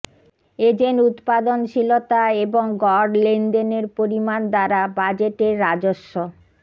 agent উত্পাদনশীলতা এবং গড় লেনদেনের পরিমাণ দ্বারা বাজেটের রাজস্ব